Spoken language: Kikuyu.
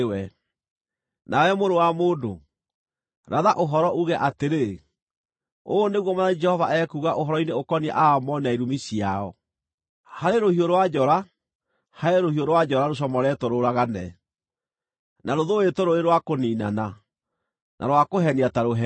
“Nawe mũrũ wa mũndũ, ratha ũhoro, uuge atĩrĩ, ‘Ũũ nĩguo Mwathani Jehova ekuuga ũhoro-inĩ ũkoniĩ Aamoni na irumi ciao: “ ‘Harĩ rũhiũ rwa njora, harĩ rũhiũ rwa njora, rũcomoretwo rũũragane, na rũthũũĩtwo rũrĩ rwa kũniinana, na rwakũhenia ta rũheni!